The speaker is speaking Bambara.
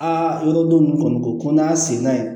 Aa yɔrɔ dɔ nin kɔni ko n'a y'a sen da